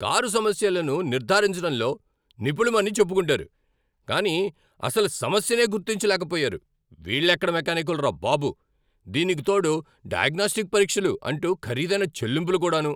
Car సమస్యలను నిర్ధారించడంలో నిపుణులమని చెప్పుకుంటారు, కానీ అసలు సమస్యనే గుర్తించలేక పోయారు, వీళ్ళెక్కడ మెకానిక్కులరా బాబు! దీనికి తోడు 'డయాగ్నొస్టిక్ పరీక్షలు' అంటూ ఖరీదైన చెల్లింపులు కూడాను !